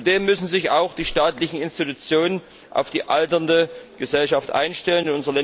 Zudem müssen sich auch die staatlichen Institutionen auf die alternde Gesellschaft einstellen.